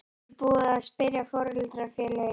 Er búið að spyrja foreldrafélögin?